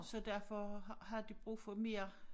Så derfor har har de brug for mere